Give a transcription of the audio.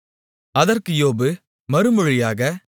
அதற்கு யோபு மறுமொழியாக